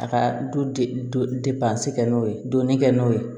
A ka du kɛ n'o ye donin kɛ n'o ye